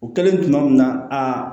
O kɛlen tuma min na aa